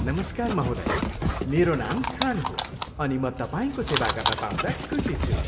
नमस्कार महोदया, मेरो नाम खान हो अनि म तपाईँको सेवा गर्न पाउँदा खुसी छु।